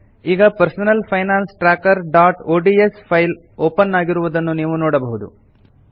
ಈಗ personal finance trackerಒಡಿಎಸ್ open ಆಗಿರುವುದನ್ನು ನೀವು ನೋಡಬಹುದು